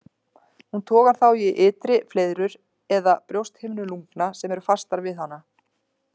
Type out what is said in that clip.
Hún togar þá í ytri fleiðrur eða brjósthimnur lungna sem eru fastar við hana.